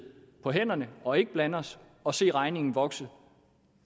på hænderne og ikke blande os og se regningen vokse